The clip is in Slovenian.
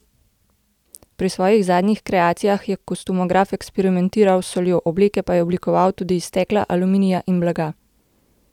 Pri svojih zadnjih kreacijah je kostumograf eksperimentiral s soljo, obleke pa je oblikoval tudi iz stekla, aluminija in blaga.